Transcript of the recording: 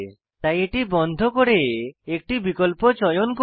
তাই এটি বন্ধ করে একটি বিকল্প চয়ন করি